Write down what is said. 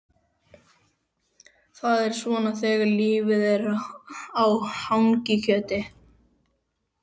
Það fer svona þegar lifað er á hangikjöti.